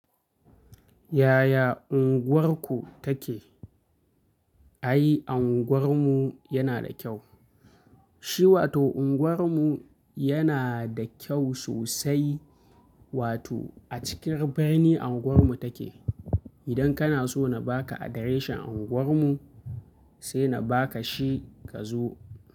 Yaya unguwarku take? Ai, unguwarmu yana da kyau. Shi wato unguwarmu yana da kyau sosai. Wato a cikin birni unguwarmu take. Idan kana so na ba ka adireshin unguwarmu, sai na ba ka shi ka zo.